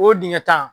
O dingɛ tan